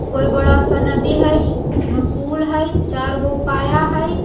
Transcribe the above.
कोई बड़ा सा नदी है पुल है चारगो पाया है।